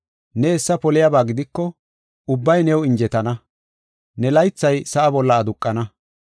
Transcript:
“Ne hessa poliyaba gidiko ubbay new injetana; ne laythay sa7a bolla aduqana.”